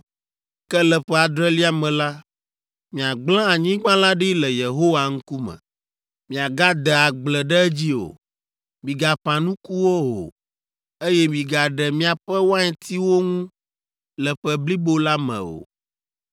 ke le ƒe adrelia me la, miagblẽ anyigba la ɖi le Yehowa ŋkume; miagade agble ɖe edzi o. Migaƒã nukuwo o, eye migaɖe miaƒe waintiwo ŋu le ƒe blibo la me o.